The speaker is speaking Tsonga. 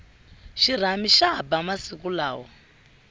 xirhami xa ba masiku lawa